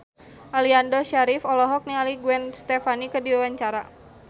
Aliando Syarif olohok ningali Gwen Stefani keur diwawancara